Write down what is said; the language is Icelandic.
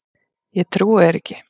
Ég trúi þér ekki!